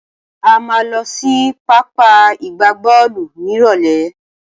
A máa lọ sí pápá ìgbábọ́ọ̀lù nírọ̀lẹ́.